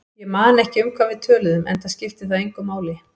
Ég man ekki um hvað við töluðum, enda skipti það engu máli.